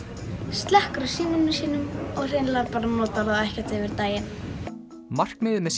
slekkur á símanum sínum og hreinlega bara notar hann ekkert yfir daginn markmiðið með